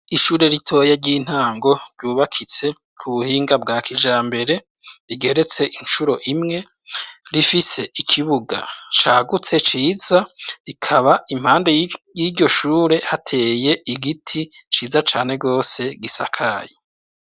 Ishure ritoye ry'intango ryubakitse ku buhinga bwa kija mbere rigeretse incuro imwe rifise ikibuga cagutse ciza rikaba impande yiryo shure hateye igiti ciza cane rwose gisakayi.